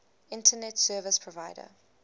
internet service provider